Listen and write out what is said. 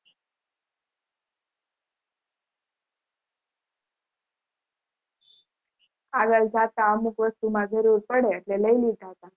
આગળ જાતા અમુક વસ્તુ માં જરૂર પડે એટલે લય લીધા હતા